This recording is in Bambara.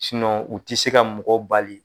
u tɛ se ka mɔgɔ bali